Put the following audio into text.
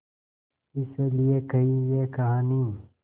इस लिये कही ये कहानी